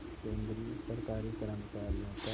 केंद्रीय सरकारी कर्मचारियों का